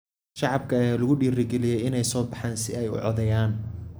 Shacabka ayaa lagu dhiirigeliyay inay u soo baxaan si ay u codeeyaan.